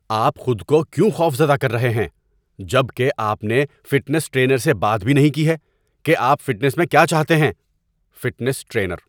آپ خود کو کیوں خوفزدہ کر رہے ہیں جب کہ آپ نے فٹنس ٹرینر سے بات بھی نہیں کی ہے کہ آپ فٹنس میں کیا چاہتے ہیں؟ (فٹنس ٹرینر)